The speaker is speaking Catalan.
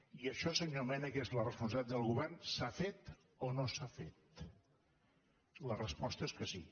i això senyor mena que és la responsabilitat del govern s’ha fet o no s’ha fet la resposta és que sí